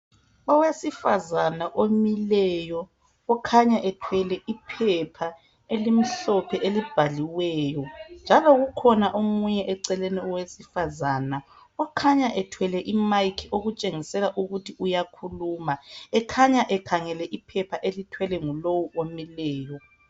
Owesifazana omileyo. Okhanya ethwele iphepha elimhlophe elibhaliweyo. Njalo kukhona omunye eceleni owesifazana okhanya ethwele imike okutshengisela ukuthi uyakhuluma. Ekhanya ekhangele iphepha elithwelwe ngulowu omileyo.